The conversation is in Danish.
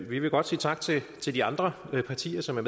vi vil godt sige tak til de andre partier som er